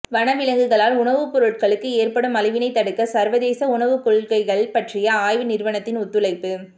வன விலங்குகளால் உணவு பொருட்களுக்கு ஏற்படும் அழிவினை தடுக்க சர்வதேச உணவு கொள்கைகள் பற்றிய ஆய்வு நிறுவனத்தின் ஒத்துழைப்பு